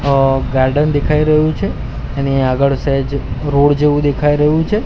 અ garden દેખાય રહ્યું છે એની આગળ સેજ રોડ જેવું દેખાય રહ્યું છે.